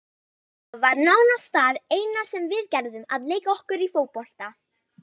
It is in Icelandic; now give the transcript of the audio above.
Þetta var nánast það eina sem við gerðum, að leika okkur í fótbolta.